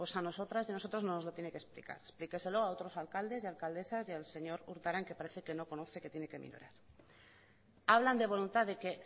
a nosotras y a nosotros no nos lo tiene que explicar explíqueselo a otros alcaldes y alcaldesas y al señor urtaran que parece que no conoce que tiene que minorar hablan de voluntad de que